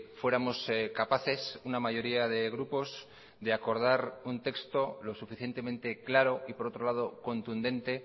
fuéramos capaces una mayoría de grupos de acordar un texto lo suficientemente claro y por otro lado contundente